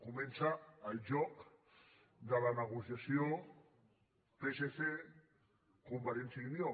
comença el joc de la negociació psc · convergència i unió